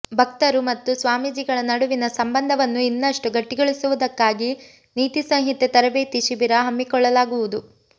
ಭಕ್ತರು ಮತ್ತು ಸ್ವಾಮೀಜಿಗಳ ನಡುವಿನ ಸಂಬಂಧವನ್ನು ಇನ್ನಷ್ಟು ಗಟ್ಟಿಗೊಳಿಸುವುದಕ್ಕಾಗಿ ನೀತಿ ಸಂಹಿತೆ ತರಬೇತಿ ಶಿಬಿರ ಹಮ್ಮಿಕೊಳ್ಳಲಾಗುವುದು